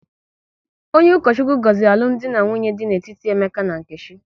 Onye Ukochukwu gọziri alụmdi na nwunye dị n'etiti Emeka na Nkechi